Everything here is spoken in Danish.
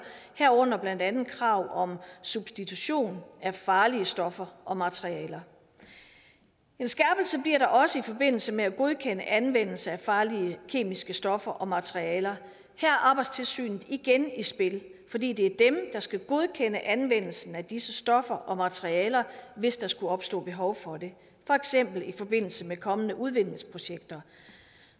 herunder blandt andet krav om substitution af farlige stoffer og materialer en skærpelse bliver der også i forbindelse med at godkende anvendelse af farlige kemiske stoffer og materialer her er arbejdstilsynet igen i spil fordi det er dem der skal godkende anvendelsen af disse stoffer og materialer hvis der skulle opstå behov for det for eksempel i forbindelse med kommende udvindingsprojekter